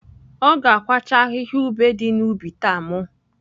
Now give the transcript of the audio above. Ọ ga-akwacha ahịhịa ube dị n’ubi taa. M